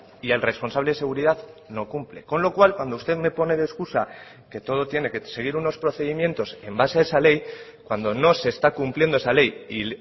y el responsable de seguridad no cumple con lo cual cuando usted me pone de excusa que todo tiene que seguir unos procedimientos en base a esa ley cuando no se está cumpliendo esa ley y